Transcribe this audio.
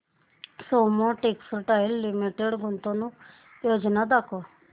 Soma textile limited गुंतवणूक योजना दाखव